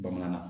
Bamanan na